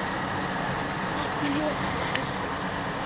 Ekki ég sagði Áslaug.